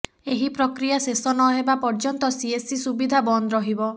ଏହି ପ୍ରକ୍ରିୟା ଶେଷ ନହେବା ପର୍ଯ୍ୟନ୍ତ ସିଏସ୍ସି ସୁବିଧା ବନ୍ଦ ରହିବ